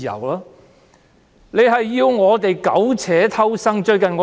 他們要我們苟且偷生。